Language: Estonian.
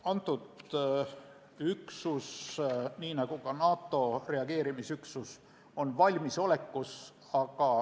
Kõnealune üksus – nii nagu ka NATO reageerimisüksus – on valmisolekus.